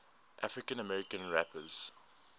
african american rappers